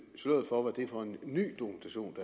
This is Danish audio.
sløret for hvad det er for en ny dokumentation